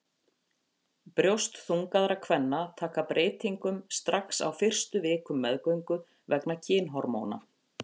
Brjóst þungaðra kvenna taka breytingum strax á fyrstu vikum meðgöngu vegna kynhormóna.